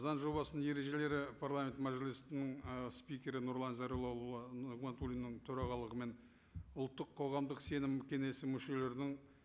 заң жобасының ережелері парламент мәжілістің ы спикері нұрлан зайроллаұлы нығматуллинның төрағалығымен ұлттық қоғамдық сенім кеңесі мүшелерінің